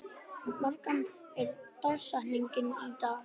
Magda, hver er dagsetningin í dag?